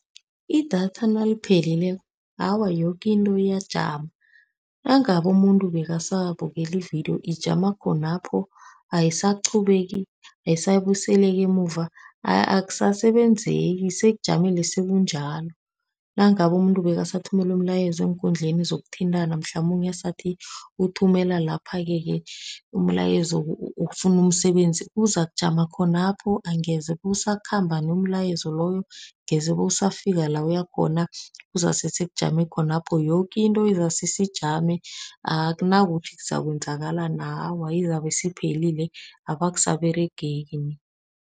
Idatha naliphelileko, awa yoke into iyajama. Nangabe umuntu bekasabukele ividiyo, ijama khonapho, ayisaqhubeki, ayisabuyiseleki emuva. Akusasebenzeki, sekujamile sekunjalo. Nangabe umuntu bekasathumela umlayezo eenkundleni zokuthintana, mhlamunye asathi uthumela laphake-ke umlayezo wokufuna umsebenzi, uzakujama khonapho, angeze kusakhamba nomlayezo loyo. Angeze bewusafika la uya khona. Kuzase sekujame khona lapho. Yoke into izase seyijame, akunakuthi kuzakwenzakalani. Awa izabe isiphelile, abe akusaberegeki nie.